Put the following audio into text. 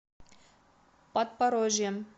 подпорожьем